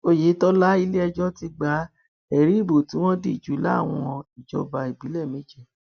oyetola iléẹjọ ti gba ẹrí ìbò tí wọn dì jù láwọn ìjọba ìbílẹ méje